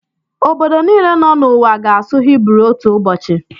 Obodo niile nọ n'ụwa ga-asụ Hibru otu ụbọchị.